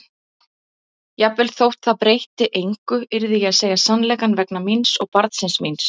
Jafnvel þótt það breytti engu yrði ég að segja sannleikann vegna mín og barnsins míns.